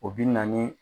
O bi na ni